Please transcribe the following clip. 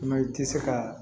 Mɛ i tɛ se ka